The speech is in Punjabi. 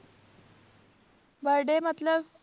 Birthday ਮਤਲਬ